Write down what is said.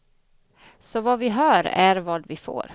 Så vad vi hör är vad vi får.